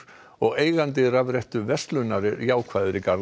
og eigandi rafrettuverslunar er jákvæður í garð